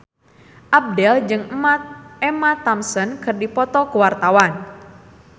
Abdel jeung Emma Thompson keur dipoto ku wartawan